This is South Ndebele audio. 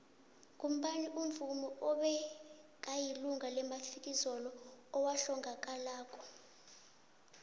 ngubani umuvmi obekayilunga lemafikizo owahlangakalako